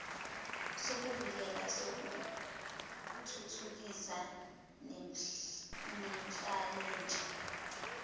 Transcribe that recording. sokuvikela sokuthuthukisa nenhlalanhle